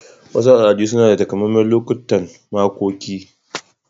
Wasu al'adu suna da takamaiman lokutan makoki.